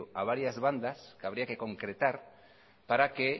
a varias bandas que habría que concretar para que